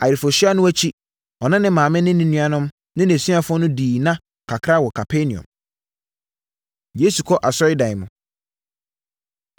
Ayeforɔhyia no akyi, ɔne ne maame ne ne nuanom ne nʼasuafoɔ no dii nna kakra wɔ Kapernaum. Yesu Kɔ Asɔredan Mu